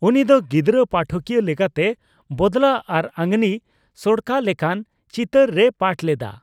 ᱩᱱᱤ ᱫᱚ ᱜᱤᱫᱽᱨᱟᱹ ᱯᱟᱴᱷᱠᱤᱭᱟᱹ ᱞᱮᱠᱟᱛᱮ ᱵᱚᱫᱞᱟ ᱟᱨ ᱟᱫᱢᱤ ᱥᱚᱲᱚᱠᱟ ᱞᱮᱠᱟᱱ ᱪᱤᱛᱟᱹᱨ ᱨᱮᱭ ᱯᱟᱴᱷ ᱞᱮᱫᱟ ᱾